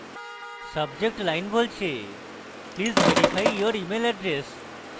subject line বলছে please verify your email address